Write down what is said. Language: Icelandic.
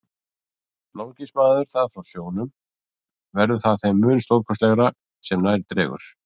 Nálgist maður það frá sjónum, verður það þeim mun stórkostlegra sem nær dregur.